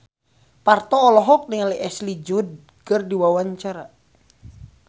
Parto olohok ningali Ashley Judd keur diwawancara